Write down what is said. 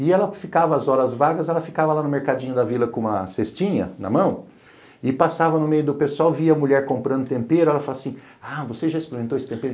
E ela ficava, às horas vagas, ela ficava lá no mercadinho da vila com uma cestinha na mão e passava no meio do pessoal, via a mulher comprando tempero, ela fala assim, ah, você já experimentou esse tempero?